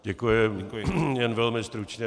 Děkuji, jen velmi stručně.